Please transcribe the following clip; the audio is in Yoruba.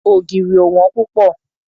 Ògìrì ò wón púpọ̀.